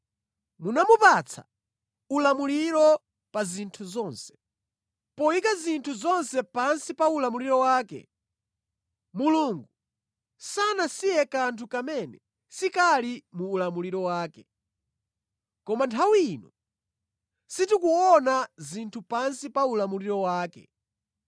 Munamupatsa ulamuliro pa zinthu zonse.” Poyika zinthu zonse pansi pa ulamuliro wake, Mulungu sanasiye kanthu kamene sikali mu ulamuliro wake. Koma nthawi ino sitikuona zinthu pansi pa ulamuliro wake.